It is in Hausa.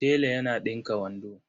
Tela yana ɗinka wando.